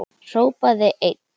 Hrópaði einn